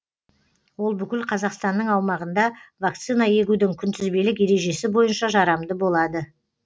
ол бүкіл қазақстанның аумағында вакцина егудің күнтізбелік ережесі бойынша жарамды болады